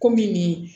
Komi nin